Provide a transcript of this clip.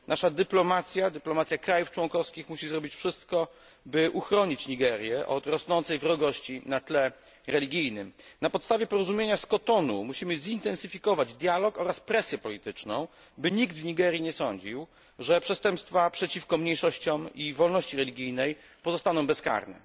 Nasza dyplomacja, dyplomacja krajów członkowskich musi zrobić wszystko, by uchronić Nigerię od rosnącej wrogości na tle religijnym. Na podstawie porozumienia z Kotonu musimy zintensyfikować dialog oraz presję polityczną, by nikt w Nigerii nie sądził, że przestępstwa przeciwko mniejszościom i wolności religijnej pozostaną bezkarne.